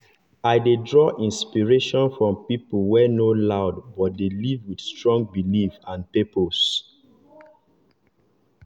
dem reason different angles before dem choose person wey dem really fit respect as role model.